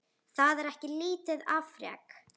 Það er ekki lítið afrek.